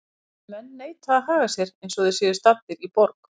Þessir menn neita að haga sér eins og þeir séu staddir í borg.